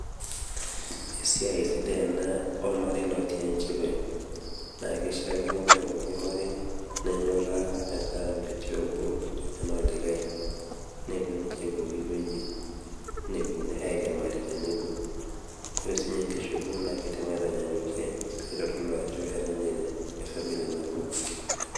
Esiai sidai ena olmarei lotii enchipai. Naa keishaakino Kore pooki marei nenyora metaa metii obo omenaa likai, nepuo ninche pooki wueji nepuo airiemari tenebo, ore siininye enkishopo neitanyanyukie pee keitodolu ninche ajo efamili nabo.